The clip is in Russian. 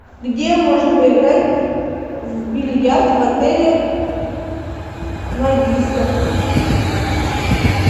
где можно поиграть в бильярд в отеле магистр